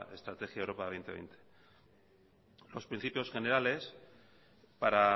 estrategia europa dos mil veinte los principios generales para